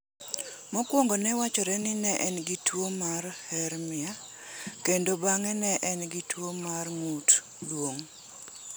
Mokwongo ne wachore ni ne en gi tuo mar hernia kendo bang’e ne en gi tuo mar ng’ut duong'